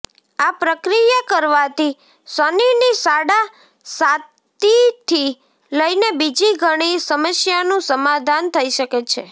આ પ્રક્રિયા કરવાથી શનિની સાડા સાતીથી લઈને બીજી ઘણી સમસ્યાનું સમાધાન થઇ શકે છે